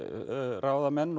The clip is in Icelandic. ráðamenn